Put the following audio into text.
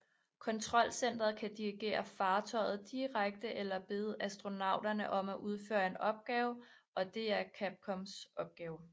Kontrolcentret kan dirigere fartøjet direkte eller bede astronauterne om at udføre en opgave og det er Capcoms opgave